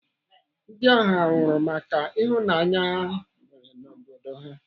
Ndị ahụ anwụrụ maka ịhụnanya ha nwere n'obodo ha?